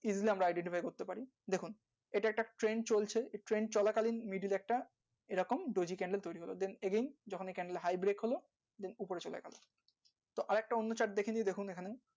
সেটা একটা Trend চলা কালীন একটা offer এ candlehigh, back নিয়ে বসে আছে